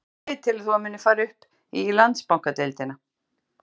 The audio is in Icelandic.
Hvaða lið telur þú að muni fara upp í Landsbankadeildina?